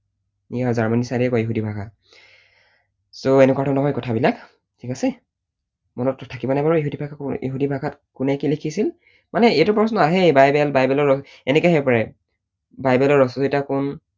Ya জাৰ্মানীৰ side য়েই কয় ইহুদী ভাষা। so এনেকুৱা ধৰণৰ হয় কথা বিলাক, ঠিক আছে? মনত থাকিবনে বাৰু ইহুদী ভাষাত কোনে কি লিখিছিল? মানে এইটো প্ৰশ্ন আহেই বাইবেল বাইবেলৰ, এনেকৈ আহিব পাৰে, বাইবেলৰ ৰচয়িতা কোন?